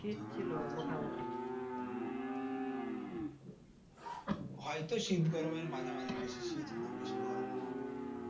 হয়তো শীত গরমের মাঝামাঝি বেশি শীত ও না বেশি গরম ও না।